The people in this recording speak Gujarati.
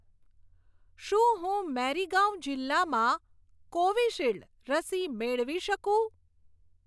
શું હું મેરીગાંવ જિલ્લામાં કોવિશીલ્ડ રસી મેળવી શકું?